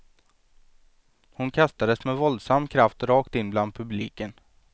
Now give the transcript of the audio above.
Hon kastades med våldsam kraft rakt in bland publiken.